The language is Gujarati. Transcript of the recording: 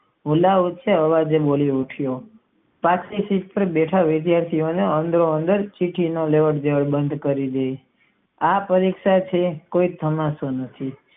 વિના ઉંચા આવજે બોલી પાછલી સીટ પાર બેઠેલા વિધાથી ઓ ને લાય બાણ કરી આ પરીક્ષા થી કોઈ બીતું નથી.